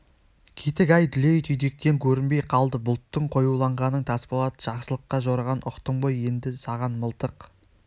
кетік ай дүлей түйдектен көрінбей қалды бұлттың қоюланғанын тасболат жақсылыққа жорыған ұқтым ғой енді саған мылтық